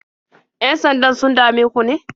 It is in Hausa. Yan-sandan sun dame ku ne?